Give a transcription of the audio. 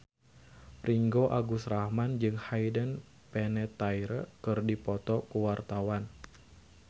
Ringgo Agus Rahman jeung Hayden Panettiere keur dipoto ku wartawan